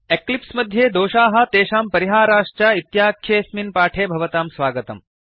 Eclipse मध्ये दोषाः तेषां परिहाराश्च इत्याख्येऽस्मिन् पाठे भवतां स्वागतम्